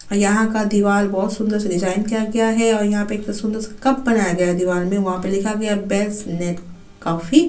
यहाँ का दीवाल बहोत सुन्दर से डिज़ाइन किया गया है और यहाँ पे सुन्दर सा कप बनाया गया है दीवाल में वहाँ पे लिखा गया है बेस्ट लेक कॉफी --